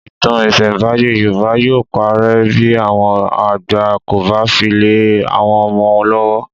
Ìtàn ìsẹ̀nbáyé Yorùbá yóò parẹ́ bí àwọn àgbà kò bá fi lè àwọn ọmọ lọ́wọ́